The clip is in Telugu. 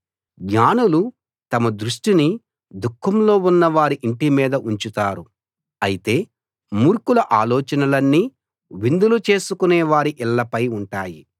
జ్ఞానులు తమ దృష్టిని దుఃఖంలో ఉన్నవారి ఇంటి మీద ఉంచుతారు అయితే మూర్ఖుల ఆలోచనలన్నీ విందులు చేసుకొనే వారి ఇళ్ళపై ఉంటాయి